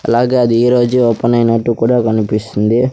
అలాగే అది ఈరోజే ఓపెన్ ఐనట్టు కూడా కనిపిస్తుంది.